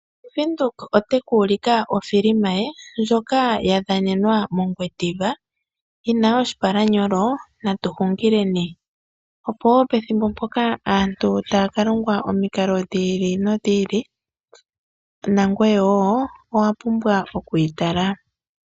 Ombaanga ya venduka ota yi ka ulika o filima ye, ndjoka ya dhanenwa mongwediva, yina oshipalanyolo Natu hungileni. Opo woo pethimbo mpoka, aantu ta ya ka longwa omikalo dhi ili nodhi ili, nangweye woo owa pumbwa oku yi tala.